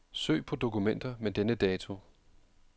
Søg på dokumenter med denne dato.